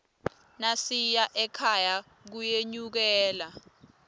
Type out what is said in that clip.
nasiya ekhaya kuyenyukela